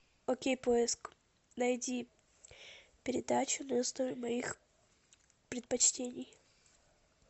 окей поиск найди передачу на основе моих предпочтений